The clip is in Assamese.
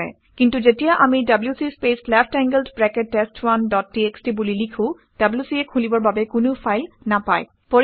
কিন্তু যেতিয়া আমি WC space left angled bracket test one dot TXT বুলি লিখোঁ wc এ খুলিবৰ বাবে কোনো ফাইল নাপায়